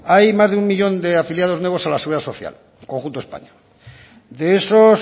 hay más de un millón de afiliados nuevos a la seguridad social conjunto de españa de esos